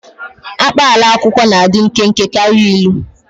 Akpaalaokwu na-adị nkenke karịa ilu.